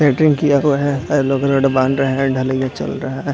Centring किया तो है अरे लोग रोड बाँध रहें हैं ढलैया चल रहा है।